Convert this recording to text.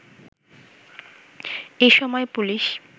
এসময় পুলিশ